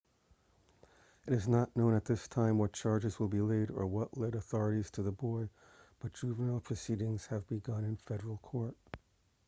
it is not known at this time what charges will be laid or what led authorities to the boy but juvenile proceedings have begun in federal court